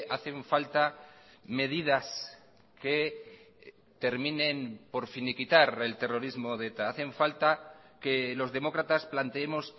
hacen falta medidas que terminen por finiquitar el terrorismo de eta hacen falta que los demócratas planteemos